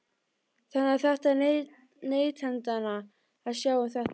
Þannig að þetta er neytendanna að sjá um þetta?